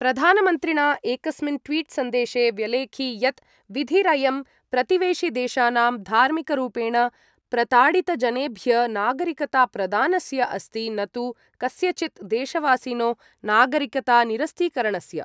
प्रधानमन्त्रिणा एकस्मिन् ट्वीट् सन्देशे व्यलेखि यत् विधिरयं प्रतिवेशिदेशानां धार्मिकरूपेण प्रताडितजनेभ्य नागरिकताप्रदानस्य अस्ति न तु कस्यचित् देशवासिनो नागरिकता निरस्तीकरणस्य।